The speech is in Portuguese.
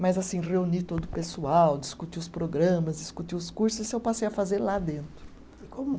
Mas assim, reunir todo o pessoal, discutir os programas, discutir os cursos, isso eu passei a fazer lá dentro.